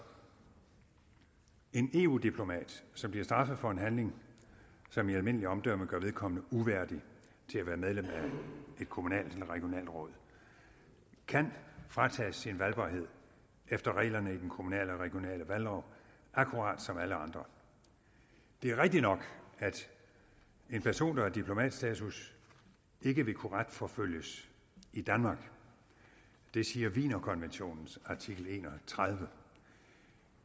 en eu diplomat som bliver straffet for en handling som i almindeligt omdømme gør vedkommende uværdig til at være medlem af et kommunalt eller regionalt råd kan fratages sin valgbarhed efter reglerne i den kommunale og regionale valglov akkurat som alle andre det er rigtigt nok at en person der har diplomatstatus ikke vil kunne retsforfølges i danmark det siger wienerkonventionens artikel enogtredivete